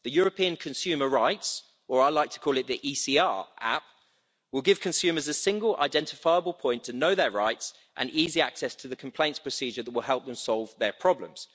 The European consumer rights or, as I like to call it, the ECR app' will give consumers a single identifiable point to know their rights and easy access to the complaints procedure that will help them solve their problems.